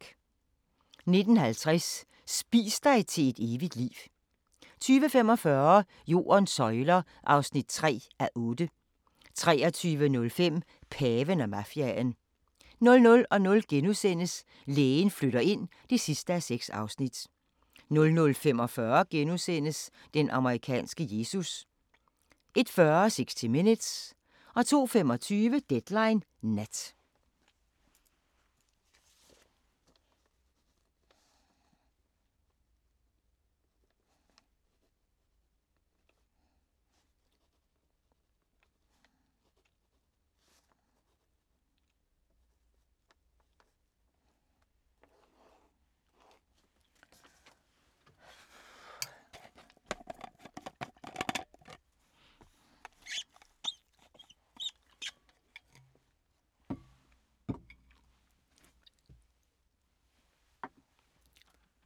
19:50: Spis dig til et evigt liv 20:45: Jordens søjler (3:8) 23:05: Paven og mafiaen 00:00: Lægen flytter ind (6:6)* 00:45: Den amerikanske Jesus * 01:40: 60 Minutes 02:25: Deadline Nat